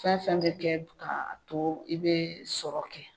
Fɛn fɛn bɛ kɛ k'a to i bɛ sɔrɔ kɛ